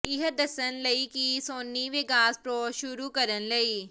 ਇਹ ਦੱਸਣ ਲਈ ਕਿ ਕੀ ਸੋਨੀ ਵੇਗਾਸ ਪ੍ਰੋ ਸ਼ੁਰੂ ਕਰਨ ਲਈ